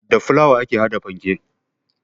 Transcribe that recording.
Da fulawa ake haɗa fanke